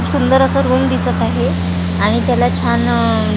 सुंदर असं रूम दिसत आहे आणि त्याला छान अह--